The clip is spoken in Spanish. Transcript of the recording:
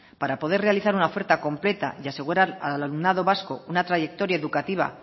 para poder realizar una oferta completa y asegurar al alumnado vasco una trayectoria educativa